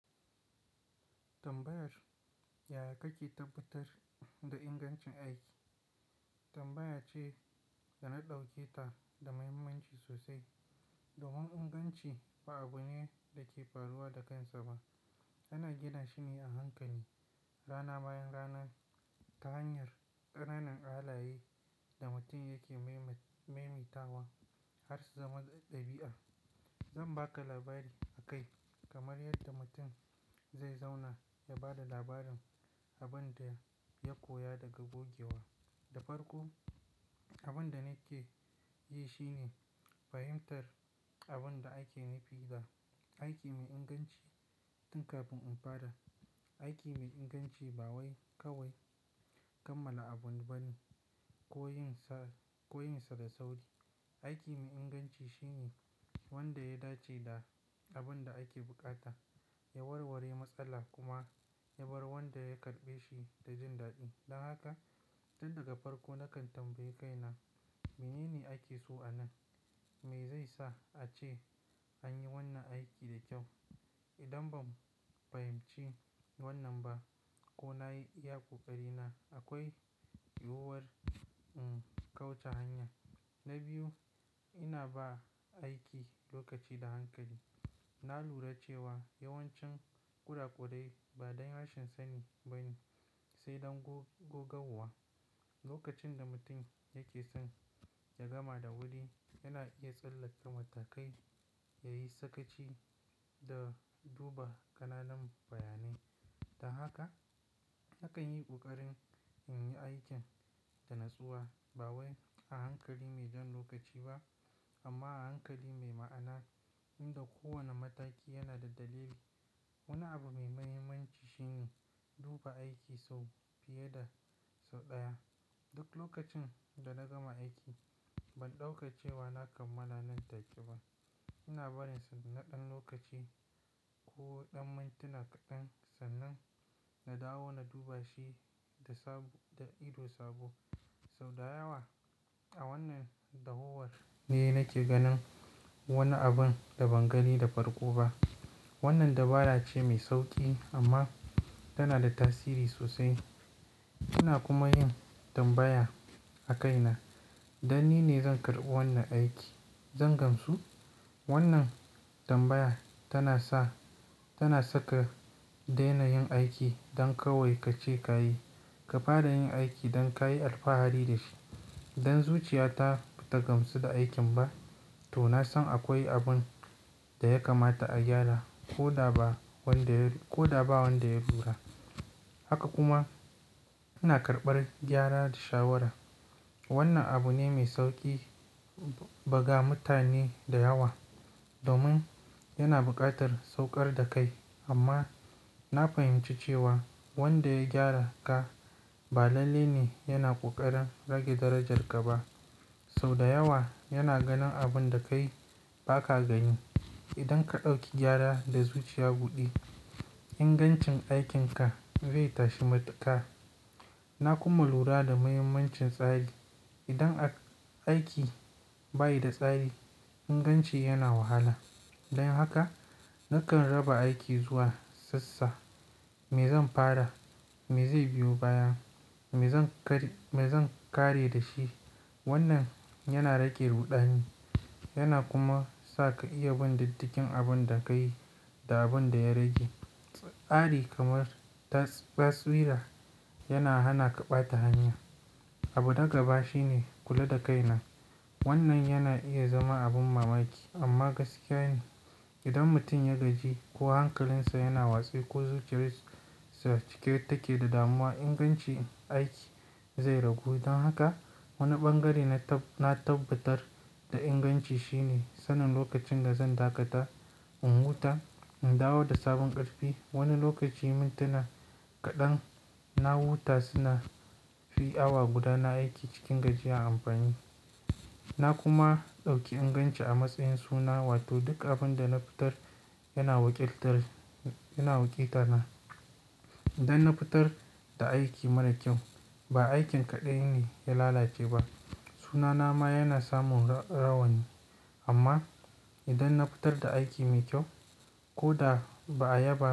Tambayar yaya kake tabbatar da ingancin aiki? Tambaya ce da na ɗauke ta da muhimmanci sosai. Domin inganci ba abu ne da ke faruwa da kansa ba. Ana gina shi ne a hankali rana bayan rana ta hanyar ƙananan halaye da mutum yake maimaita wa har su zama ɗabi'a. Zan ba ka labari akai kamar yadda mutum zai zauna ya ba da labarin abin da ya koya daga gogewa. Da farko, abin da nake yi shine fahimtar abin da ake nufi da aiki mai inganci tun kafin in fara. Aiki mai inganci ba kawai kammala abu bane ko yin sa da sauri. Aiki mai inganci shine wanda ya dace da abin da ake bukata, ya warware matsala kuma ya bar wanda ya karɓe shi da jin daɗi. Don haka tun daga farko nakan tambayi kaina, mene ne ake so a nan? Me zai sa ace an yi wannan aiki da kyau? Idan ban fahimci wannan ba ko na yi iya ƙoƙari na, akwai yiwuwar in kauca hanya. Na biyu, ina ba aiki lokaci da hankali. Na lura cewa yawancin kura kurai ba don rashin sani ba ne sai don gogauwa. Lokacin da mutum yake son ya gama da wuri, yana iya tsallaka matakai, ya yi sakaci da duba ƙananan bayanai. Ta haka nakan yi ƙoƙarin in yi aikin da natsuwa ba wai a hankali mai jan lokaci ba amma a hankali mai ma'ana inda kowane mataki yana da dalili. Wani abu mai muhimmanci shi ne duba aiki sau fiye da sau ɗaya. Duk lokacin da na gama aiki ban ɗauka cewa na kammala nan take ba. Ina barinsa na ɗan lokaci ko ɗan mintuna kaɗan sannan na dawo na duba shi da ido sabo. Sau da yawa a wannan dawowar ne nake ganin wani abin da ban gani da farko ba. Wannan dabara ce mai sauƙi amma tana da tasiri sosai. Ina kuma yin tambaya a kaina, dan ni ne zan karɓi wannan aiki, zan gamsu? Wannan tambaya tana saka daina yin aiki don kawai ka ce ka yi. Ka fara yin aiki don ka yi alfahari da shi. Idan zuciya ta bata gamsu da aikin ba to na san akwai abin da ya kamata a gyara ko da ba wanda ya lura. Haka kuma ina karɓar gyara da shawara. Wannan abu ne mai sauƙi, ba ga mutane da yawa domin yana buƙatar sauƙar da kai. Amma na fahimci cewa wanda ya gyara ka ba lalle ne yana ƙoƙarin rage darajar ka ba. Sau da yawa yana ganin abin da kai ba ka gani. Idan ka ɗauki gyara da zuciya buɗe, ingancin aikin ka zai tashi matuƙa. Na kuma lura da muhimmancin tsari. Idan aiki bai da tsari, inganci yana wahala. Don haka nakan raba aiki zuwa sassa. Me zan fara? Me zai biyo baya? Me zan kar Me zan 'kare da shi? Wannan yana rage ruɗani yana kuma sa ka iya bin diddigin abin da ka yi da abin da ya rage. Tsari kamar basira yana hana ka ɓata hanya. Abu da gaba shine kula da kaina. Wannan yana iya zama abin mamaki amma gaskiya ne. Idan mutum ya gaji ko hankalinsa yana watse ko zuciyarsa cike take da damuwa, ingancin aiki zai ragu. Don haka wani ɓangare na tabbatar da inganci shine sanin lokacin da zan dakata, in huta, in dawo da sabon ƙarfi. Wani lokaci mintuna kaɗan na huta suna fi awa guda na aiki cikin gajiya a amfani. Na kuma ɗauki inganci a matsayin suna wato duk abin da na fitar yana wakiltar. Idan na fitar da aiki mara kyau, ba aikin kaɗan ne ya lalace ba, sunana ma yana samun rauni. Amma idan na fitar da aiki mai kyau ko da ba a yaba ba.